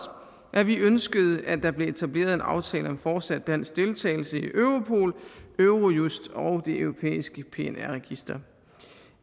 at vi ønskede at der blev etableret en aftale om fortsat dansk deltagelse i europol eurojust og det europæiske pnr register